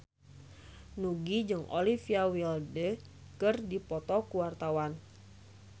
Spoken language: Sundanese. Nugie jeung Olivia Wilde keur dipoto ku wartawan